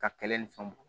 Ka kɛlɛ ni fɛnw bɔn